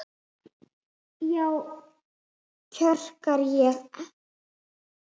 Já, kjökra ég.